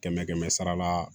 Kɛmɛ kɛmɛ sara la